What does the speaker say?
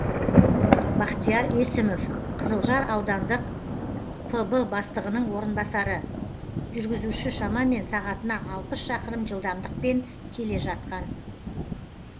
бахтияр есімов қызылжар аудандық пб бастығының орынбасары жүргізуші шамамен сағатына алпыс шақырым жылдамдықпен келе жатқан